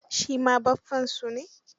Shi ma baffansu ne.